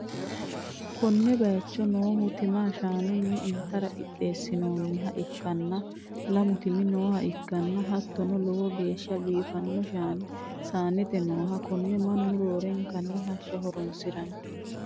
konne bayicho noohu tima shaanunni intara qixxeessinoonniha ikkanna, lamu timi nooha ikkanna, hattono lowo geeshsha biifano shaani saanete nooho, konne mannu roorenkanni hashsha horonsi'ranno.